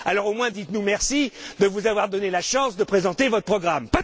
Alors, au moins, dites nous merci de vous avoir donné la chance de présenter votre programme.